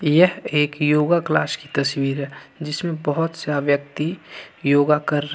यह एक योगा क्लास की तस्वीर है जिसमें बहुत सा व्यक्ति योगा कर रहे हैं।